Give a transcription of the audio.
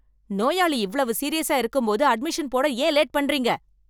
நோயாளி இவ்வளவு சீரியஸா இருக்கும்போது அட்மிஷன் போட ஏன் லேட் பண்றீங்க